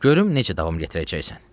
Görüm necə davam gətirəcəksən.